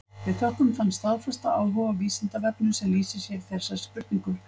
Við þökkum þann staðfasta áhuga á Vísindavefnum sem lýsir sér í þessari spurningu.